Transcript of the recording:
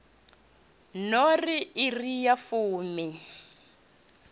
no ri iri ya fumi